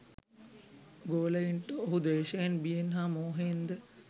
ගෝලයින්ට ඔහු ද්වේෂයෙන්, බියෙන් හා මෝහයෙන් ද